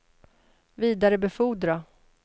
vidarebefordra